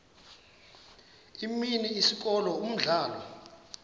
imini isikolo umdlalo